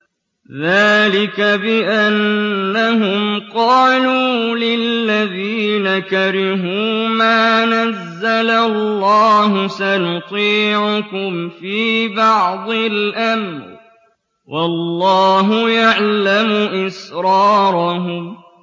ذَٰلِكَ بِأَنَّهُمْ قَالُوا لِلَّذِينَ كَرِهُوا مَا نَزَّلَ اللَّهُ سَنُطِيعُكُمْ فِي بَعْضِ الْأَمْرِ ۖ وَاللَّهُ يَعْلَمُ إِسْرَارَهُمْ